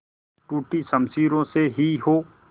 टूटी शमशीरों से ही हो